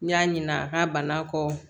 N y'a ɲina a ka bana kɔ